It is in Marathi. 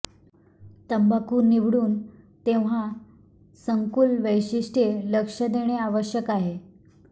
तंबाखू निवडून तेव्हा संकुल वैशिष्ट्ये लक्ष देणे आवश्यक आहे